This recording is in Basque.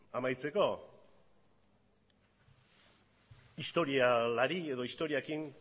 amaitzeko historialari edo historiarekin